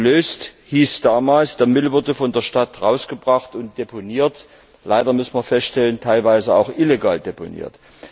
Gelöst hieß damals, der Müll wurde von der Stadt herausgebracht und deponiert, leider, müssen wir feststellen, teilweise auch illegal deponiert.